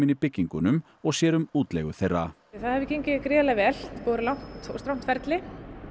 í byggingunum og sér um útleigu þeirra það hefur gengið gríðarlega vel að vera langt og strangt ferli